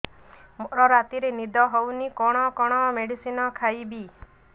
ମୋର ରାତିରେ ନିଦ ହଉନି କଣ କଣ ମେଡିସିନ ଖାଇବି